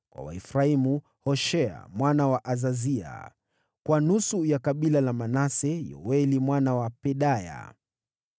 kwa Waefraimu: Hoshea mwana wa Azazia; kwa nusu ya kabila la Manase: Yoeli mwana wa Pedaya;